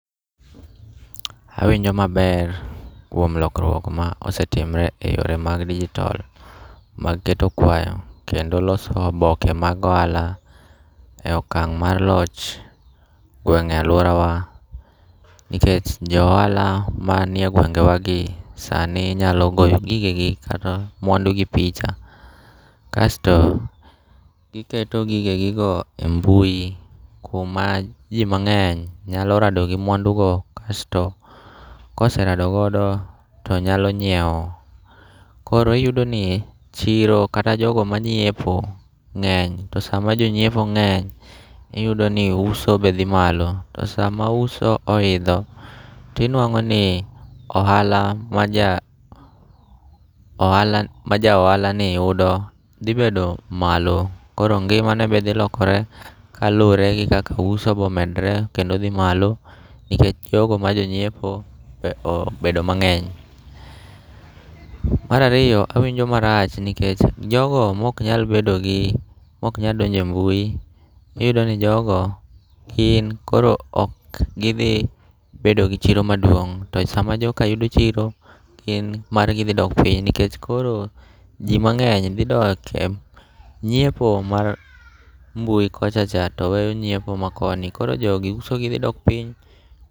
Awinjo maber kuom lokruok ma osetimre e yore mag dijitol mag keto kwayo kendo loso oboke mag ohala e okang' mar loch gweng' e alworawa. Nikech jo ohala ma nie gwengewagi sani nyalo goyo gigegi kata mwandu gi picha. Kasto giketo gigegigo e mbui, kuma ji mang'eny nyalo rado gi mwandu go kasto koserado godo to nyalo nyiewo. Koro iyudo ni chiro kata jogo manyiepo ng'eny, to sama jonyiepo ng'eny iyudo ni uso be dhi malo. To sama uso oidho, tinwang'o ni ohala ma ja, ohala ma ja ohala ni yudo dhi bedo malo. Koro ngima ne be dhi lokore kaluwore gi kaka uso bomedre kendo dhi malo, nikech jogo ma jonyiepo be obedo mang'eny. Marariyo, awinjo marach nikech jogo mok nyal bedo gi moknya donje mbui, iyudo ni jogo gin koro ok gidhi bedo gi chiro maduong'. To sama joka yudo chiro, gin margi dhi dok piny. Nikech koro ji mang'eny dhi doke nyiepo mar mbui kocha cha, to weyo nyiepo ma koni. Koro jogi usogi dhi dok piny.